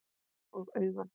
Og augun?